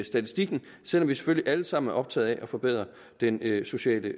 statistikken selv om vi selvfølgelig alle sammen er optaget af at forbedre den sociale